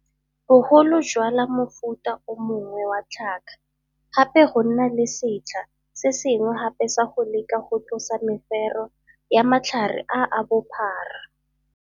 Bogolo jwala mofuta o mongwe wa tlhaka gape go nna le setlha se sengwe gape sa go leka go tlosa mefero ya matlhare a a bophara.